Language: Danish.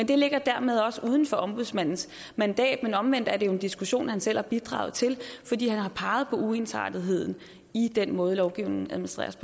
det ligger dermed også uden for ombudsmandens mandat men omvendt er det jo en diskussion han selv har bidraget til fordi han har peget på uensartetheden i den måde lovgivningen administreres